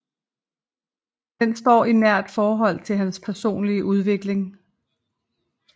Den står i nært forhold til hans personlige udvikling